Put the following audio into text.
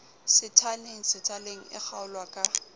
sethaleng sethaleng e kgaolwa ka